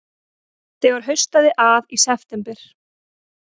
Þegar haustaði að í september